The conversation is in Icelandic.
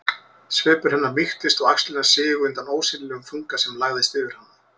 Svipur hennar mýktist og axlirnar sigu undan ósýnilegum þunga sem lagðist yfir hana.